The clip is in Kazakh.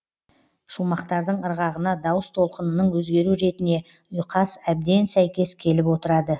шумақтың ырғағына дауыс толқынының өзгеру ретіне ұйқас әбден сәйкес келіп отырады